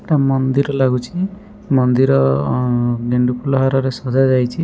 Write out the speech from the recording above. ଏଟା ମନ୍ଦିର ଲାଗୁଛି ମନ୍ଦିର ଗେଣ୍ଡୁ ଫୁଲ ହାରରେ ସଜା ଯାଇଛି।